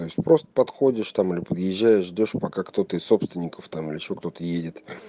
то есть просто подходишь там или подъезжаешь ждёшь пока кто-то из собственников там или ещё кто-то едет